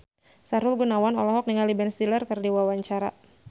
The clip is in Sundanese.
Sahrul Gunawan olohok ningali Ben Stiller keur diwawancara